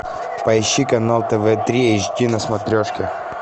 поищи канал тв три эйч ди на смотрешке